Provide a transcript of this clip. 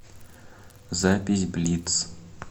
запись блиц